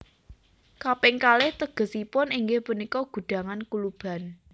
Kaping kalih tegesipun inggih punika gudhangan kuluban